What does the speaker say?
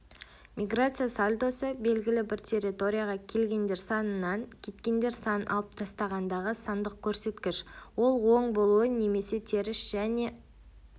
миграция сальдосы-белгілі бір территорияға келгендер санынан кеткендер санын алып тастағандағы сандық көрсеткіш ол оң болуы немесе теріс және